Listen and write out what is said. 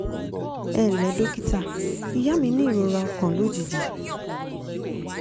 ẹ ǹ lẹ́ dókítà ìyá mi ní ìrora ọkàn lójijì